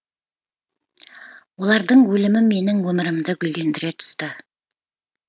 олардың өлімі менің өмірімді гүлдендіре түсті